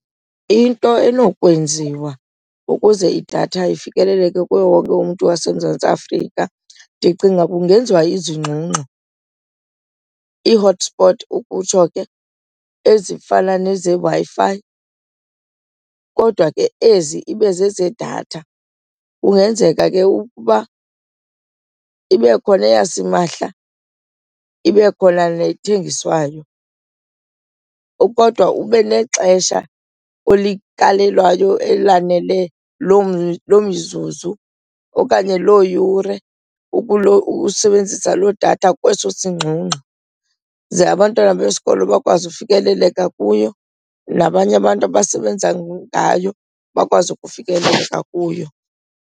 Into enokwenziwa ukuze idatha ifikeleleke kuwo wonke umntu waseMzantsi Afrika ndicinga kungenziwa izingxungxo, i-hotspot ukutsho ke, ezifana nezeWi-Fi kodwa ke ezi ibe zezedatha. Kungenzeka ke ukuba ibe khona eyasimahla ibe khona nethengiswayo kodwa ube nexesha olikalelwayo elaneleyo, loo mzuzu okanye loo yure ukusebenzisa loo yedatha kweso singxungxo. Ze abantwana besikolo bakwazi ufikeleleka kuyo nabanye abantu abasebenza ngayo bakwazi ukufikeleleka kuyo.